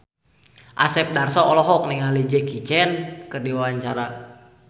Asep Darso olohok ningali Jackie Chan keur diwawancara